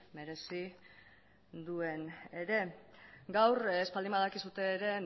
merezi duen ere gaur ez baldin badakizue ere